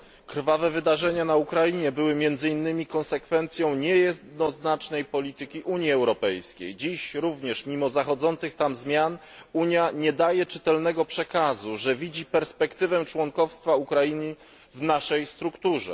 Krwawe wydarzenia na Ukrainie były między innymi konsekwencją niejednoznacznej polityki Unii Europejskiej. Dziś również, mimo zachodzących tam zmian, Unia nie daje czytelnego przekazu, że widzi perspektywę członkostwa Ukrainy w naszej strukturze.